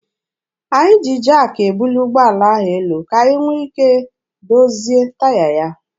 Anyị ji jaakị ebuli ụgbọala ahụ elu ka anyị nwee ike dozie taya ya.